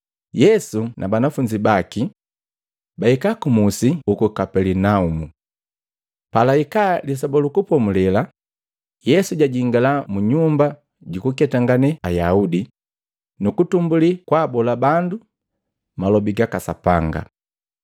Yesu na banafunzi baki bahika kumusi uku Kapelinaumu. Palahika Lisoba lu Kupomulela, Yesu jajingala mu nyumba jukuketangane Ayaudi, nukutumbulii kwaabola bandu malobi gaka Sapanga.